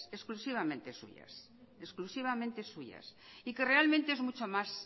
exclusivamente suyas exclusivamente suyas y que realmente es mucho más